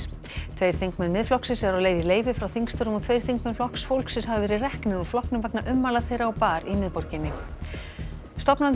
tveir þingmenn Miðflokksins eru á leið í leyfi frá þingstörfum og tveir þingmenn Flokks fólksins hafa verið reknir úr flokknum vegna ummæla þeirra á bar í miðborginni stofnandi